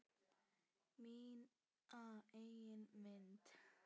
Mína eigin mynd.